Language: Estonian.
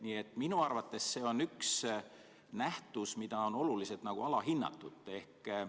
Nii et minu arvates see on üks nähtus, mida on oluliselt alahinnatud.